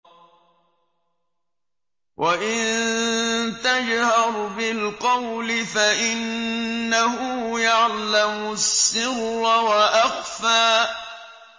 وَإِن تَجْهَرْ بِالْقَوْلِ فَإِنَّهُ يَعْلَمُ السِّرَّ وَأَخْفَى